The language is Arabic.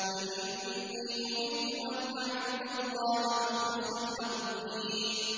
قُلْ إِنِّي أُمِرْتُ أَنْ أَعْبُدَ اللَّهَ مُخْلِصًا لَّهُ الدِّينَ